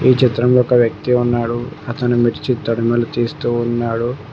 ఈ చిత్రంలో ఒక వ్యక్తి ఉన్నాడు అతను మిర్చి తడుములు తీస్తూ ఉన్నాడు.